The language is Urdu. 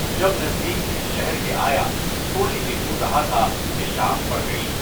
جب نز دیکھ اس شہر کے آیا، تھوڑی سی دور رہا تھا کہ شام پڑ گئی۔